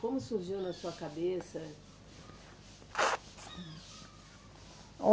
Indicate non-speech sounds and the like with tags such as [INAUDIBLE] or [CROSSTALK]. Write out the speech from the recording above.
Como surgiu na sua cabeça? [UNINTELLIGIBLE]